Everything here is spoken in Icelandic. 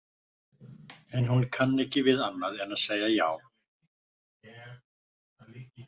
En hún kann ekki við annað en að segja já.